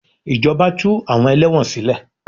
Ìjọba tú àwọn ẹlẹ́wọ̀n sílè.